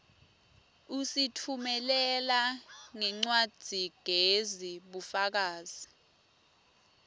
usitfumelela ngencwadzigezi bufakazi